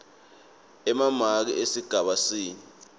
emamaki esigaba c